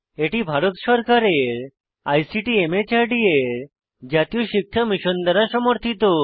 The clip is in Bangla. এটি ভারত সরকারের আইসিটি মাহর্দ এর জাতীয় সাক্ষরতা মিশন দ্বারা সমর্থিত